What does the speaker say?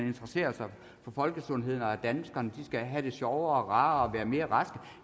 interesserer sig for folkesundheden og for at danskerne skal have det sjovere og rarere og være mere raske